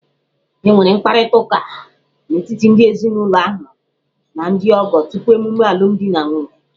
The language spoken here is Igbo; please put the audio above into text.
E nwere mkparịta ụka n'etiti ndị ezinụlọ ahụ na ndị ọgọ tupu emume alumdi na nwunye.